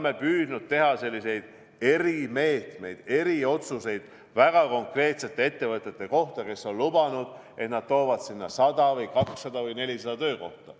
Me oleme püüdnud teha selliseid erimeetmeid, eriotsuseid väga konkreetsete ettevõtete kohta, kes on lubanud, et nad toovad sinna 100 või 200 või 400 töökohta.